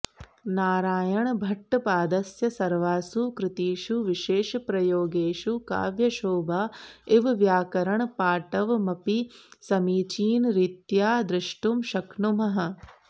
नारायणभट्टपादस्य सर्वासु कृतिषु विशेषप्रयोगेषु काव्यशोभा इव व्याकरणपाटवमपि समीचीनरीत्या द्रष्टुं शक्नुमः